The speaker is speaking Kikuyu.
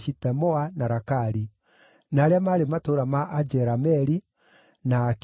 na Rakali; na arĩa maarĩ matũũra ma Ajerameeli, na Akeni;